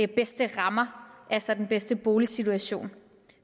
bedste rammer altså den bedste boligsituation